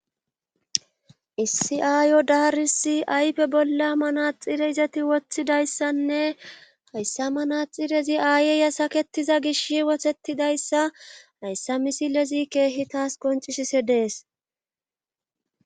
Issi7aayo daarisi ayfe bolla manaxire izati woththidayssanne hayssa manaxirezi aayeya saketiza gish wotettidayssa hayssa misilezi keehi taas qoncisise dees .